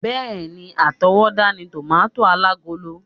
Bẹ́ẹ̀ni, átowódá ni tòmátósì alágolo